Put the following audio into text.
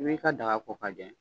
I bɛ ka daga ko k'a jɛ